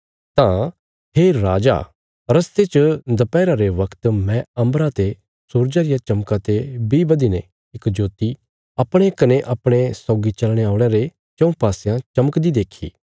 तां हे राजा रस्ते च दपैहरा रे बगत मैं अम्बरा ते सूरजा रिया चमका ते बी बधीने इक ज्योति अपणे कने अपणे सौगी चलने औल़यां रे चऊँ पासयां चमकदी देखी